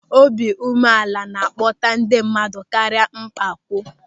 Obiụmeala na-akpọta ndị mmadụ karịa mpako.